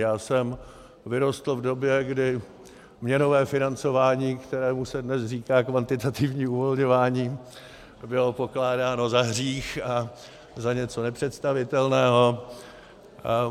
Já jsem vyrostl v době, kdy měnové financování, kterému se dnes říká kvantitativní uvolňování, bylo pokládáno za hřích a za něco nepředstavitelného.